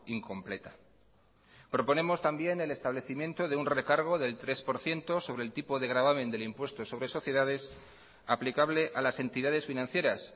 incompleta proponemos también el establecimiento de un recargo del tres por ciento sobre el tipo de gravamen del impuesto sobre sociedades aplicable a las entidades financieras